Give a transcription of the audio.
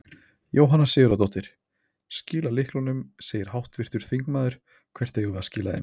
Jóhanna Sigurðardóttir: Skila lyklunum segir háttvirtur þingmaður, hvert eigum við að skila þeim?